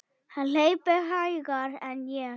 Hann hleypur hægar en ég.